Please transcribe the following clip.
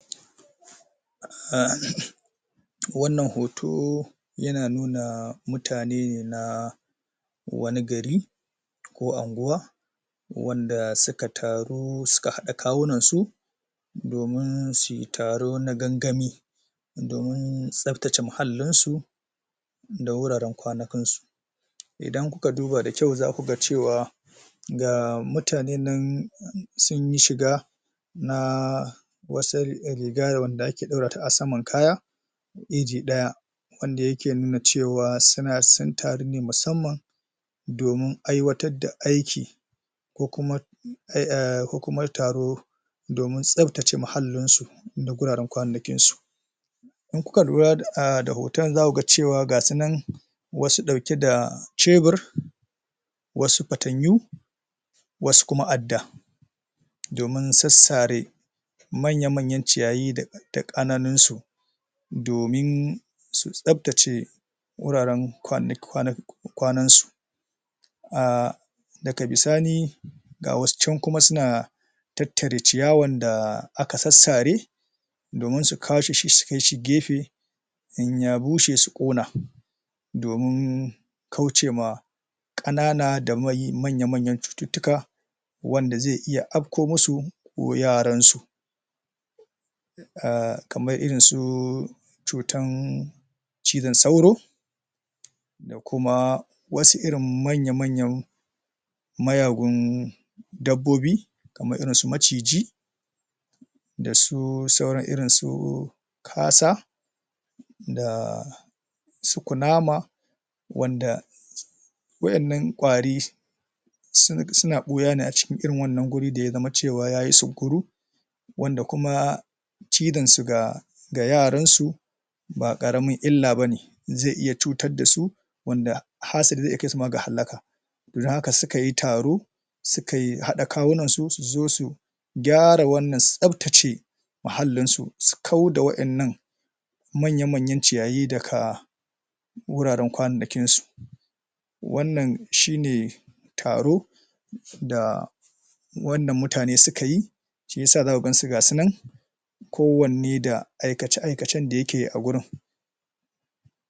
um wannan hoto yana nuna mutane na wani gari ko unguwa wanda suka taru suka haɗa kawunan su domin suyi taro na gaggami domin tsaftace muhallin su da wuraren kwanikan su idan kuka duba da kyau zaku ga cewa ga mutane nan sunyi shiga da wasal riga wanda ake ɗora ta a saman kaya iji ɗaya wanda yake nuna cewa suna sun taro ne musammam domin aiwatar da aiki ko kuma um ko kuma taro domin tsaftace muhallin su da wuraran kwanannakin su idan kuka lura ah da hotan zaku ga cewa ga su nan wasu ɗauke da Shebir wasu Fatanyo wasu kuma Adda domin sassare manya manyan ciyayi da ka ƙananin su domin su tsaftace wuraren kwa kwanki kwanan su ah daga bisani ga wasu can suna tattare ciyawar da aka sassare domin su kwashe shi su kai shi gefe in ya bushe su ƙona domin kaucewa ƙanana da mai manya manya cututtuka wanda zai iya afko musu ko yaran su ah kamar irin su cutan cizon sauro da kuma wasu irin manya manyan mayagun dabbobi kamar irin su maciji dasu sauran irin su kasa da su kunama wanda wa'yan nan kwari sun suna ɓuya ne a cikin irin wannan wuri da ya zama cewa yayi sunkuru wanda kuma cizan su ga ga yaran su ba ƙaramin illa bane zai iya cutar dasu wanda hasali zai kai iya kai su ga halaka dan haka sukayi taro su kai haɗa kawunan su, su zo su gyara nan, su tsaftace muhallin su, su kau da wa'yan nan manya manyan ciyayi daka wuraran kwanannakin su wannan shine taro da wannan mutane suka yi shiyasa zaku gansu gasu nan kowanne da aikace aikacen da yake a wurin